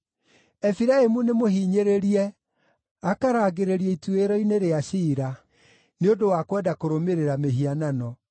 Efiraimu nĩmũhinyĩrĩrie, akarangĩrĩrio ituĩro-inĩ rĩa ciira, nĩ ũndũ wa kwenda kũrũmĩrĩra mĩhianano.